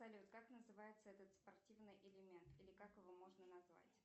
салют как называется этот спортивный элемент или как его можно назвать